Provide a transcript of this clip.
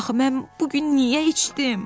Axı mən bu gün niyə içdim?